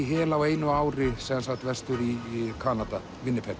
hel á einu ári vestur í Kanada